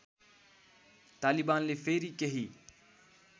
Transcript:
तालिबानले फेरि केही